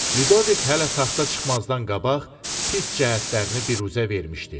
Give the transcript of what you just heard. Lüdovik hələ taxta çıxmazdan qabaq pis cəhətlərini biruzə vermişdi.